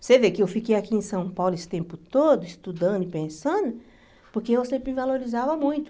Você vê que eu fiquei aqui em São Paulo esse tempo todo, estudando e pensando, porque eu sempre me valorizava muito.